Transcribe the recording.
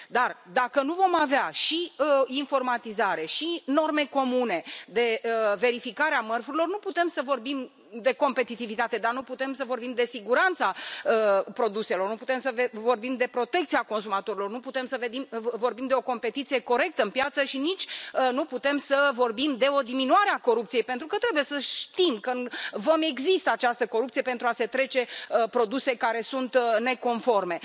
dar, dacă nu vom avea și informatizare, și norme comune de verificare a mărfurilor, nu putem să vorbim de competitivitate, dar nu putem să vorbim de siguranța produselor, nu putem să vorbim de protecția consumatorilor, nu putem să vorbim de o competiție corectă în piață și nici de o diminuare a corupției, pentru că trebuie să știm că, în vămi, există această corupție pentru a se trece produse care sunt neconforme.